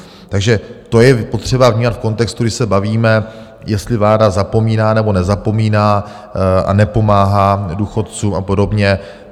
Takže to je potřeba vnímat v kontextu, když se bavíme, jestli vláda zapomíná, nebo nezapomíná a nepomáhá důchodcům a podobně.